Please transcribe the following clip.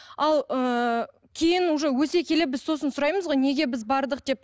ал ыыы кейін уже өсе келе біз сосын сұраймыз ғой неге біз бардық деп